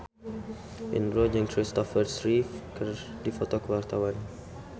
Indro jeung Kristopher Reeve keur dipoto ku wartawan